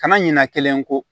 Kana ɲina kelen ko